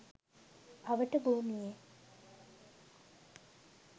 අවට භූමියේ